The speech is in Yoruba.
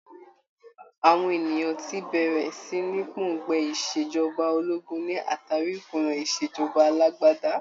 Àwọn ènìyàn ti bẹ̀rẹ̀ sí ní pòǹgbẹ Ìṣèjọba ológun ní àtàrí ìkùnà ìṣèjọba alágbádá.